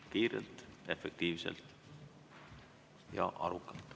Kiirelt, efektiivselt ja arukalt.